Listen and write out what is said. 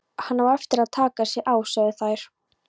Hann á eftir að taka sig á, sögðu þær.